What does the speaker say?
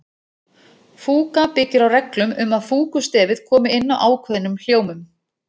Fúga byggir á reglum um að fúgustefið komi inn á ákveðnum hljómum.